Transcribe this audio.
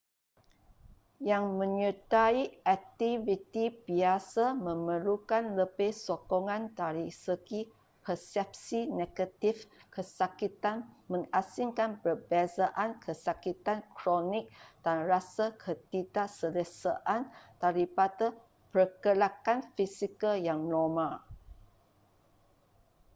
yang menyertai aktiviti biasa memerlukan lebih sokongan dari segi persepsi negatif kesakitan mengasingkan perbezaan kesakitan kronik dan rasa ketidakselesaan daripada pergerakan fizikal yang normal